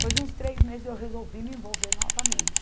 Depois de uns três meses eu resolvi me envolver novamente.